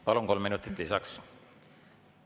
Palun, kolm minutit lisaks!